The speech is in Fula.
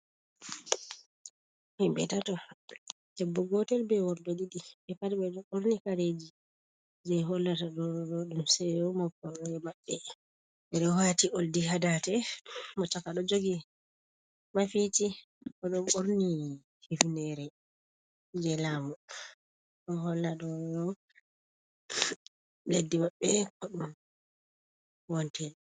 Himɓe tato debbo gotel be worɓe ɗiɗi. Ɓe pat ɓe ɗon ɓorni Kareeji je hollata ɗoɗoɗo ɗum seeyo moptorde mabɓe. Ɓeɗo wati oldi ha dande mo-chaaka ɗo jogi mafiici. Oɗo ɓorni hifnere je laamu ɗo holla ɗoɗoɗo leddi mabɓe Ko ɗum wontiri.